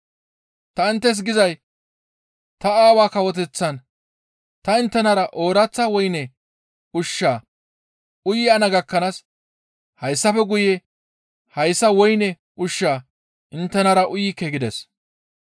Ta inttes gizay ta Aawaa Kawoteththan ta inttenara ooraththa woyne ushshaa uyana gakkanaas hayssafe guye hayssa woyne ushshaa inttenara uyikke» gides.